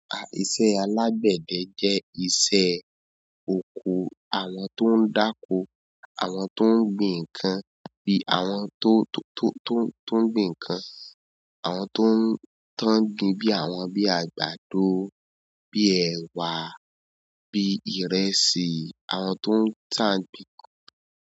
Ah, iṣẹ́ alágbède jẹ́ iṣẹ́ oko àwọn tó ń dáko, àwọn tó ń gbin ǹkan bí i àwọn tó, tó, tó, tó ń gbin ǹkan, àwọn tó ń tán gbin bí i àwọn bí i àgbàdo, bí i èwà, bí i ìrẹsì, àwọn tó ń tán gbin nǹkan.